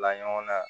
Bila ɲɔgɔnna